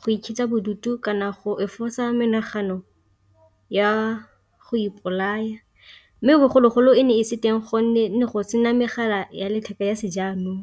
go ikitsha bodutu kana go efosa menagano ya go ipolaya, mme bogologolo e ne e se teng gonne ne go sena megala ya letheka ya se jaanong.